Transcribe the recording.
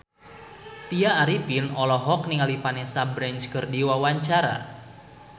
Tya Arifin olohok ningali Vanessa Branch keur diwawancara